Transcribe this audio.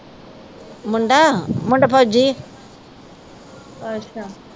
ਮੁੰਡਾ ਮੁੰਡਾ ਫੌਜੀ ਓ